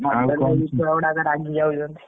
ଆଉ କହିଲେ ଛୁଆ ଗୁଡାକ ରାଗିଯାଉଛନ୍ତି।